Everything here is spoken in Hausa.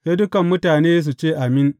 Sai dukan mutane su ce, Amin!